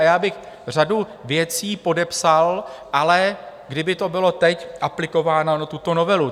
A já bych řadu věcí podepsal, ale kdyby to bylo teď aplikováno na tuto novelu.